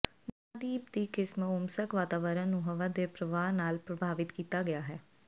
ਮਹਾਂਦੀਪ ਦੀ ਕਿਸਮ ਓਮਸਕ ਵਾਤਾਵਰਣ ਨੂੰ ਹਵਾ ਦੇ ਪ੍ਰਵਾਹ ਨਾਲ ਪ੍ਰਭਾਵਿਤ ਕੀਤਾ ਗਿਆ ਹੈ